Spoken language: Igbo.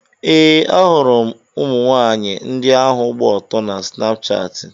Ee, ahụrụ m ụmụnwaanyị ndị ahụ gba ọtọ na Snapshatị.